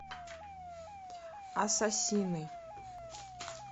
ассасины